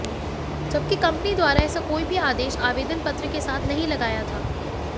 जबकि कंपनी द्वारा ऐसा कोई भी आदेश आवेदन पत्र के साथ नहीं लगाया था